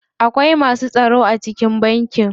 Akwai masu tsaro a cikin banki.